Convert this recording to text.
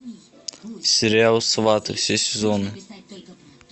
сериал сваты все сезоны